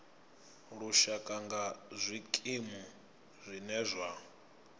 lushaka nga zwikimu zwine zwa